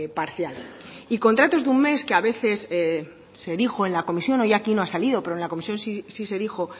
parcial y contratos de un mes que a veces se dijo en la comisión hoy aquí no ha salido pero en la comisión sí se dijo